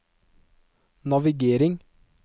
navigering